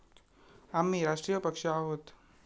आम्ही राष्ट्रीय पक्ष आहोत.